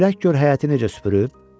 külək gör həyəti necə süpürüb?